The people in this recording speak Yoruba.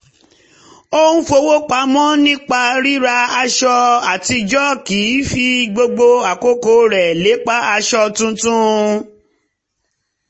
ó ń fowó pamọ́ nípa ríra aṣọ àtijọ́ kì í fi gbogbo àkókò rẹ̀ lépa aṣọ tuntun